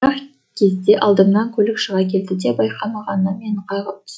бір ақ кезде алдымнан көлік шыға келді де байқамағаннан мені қағып түсті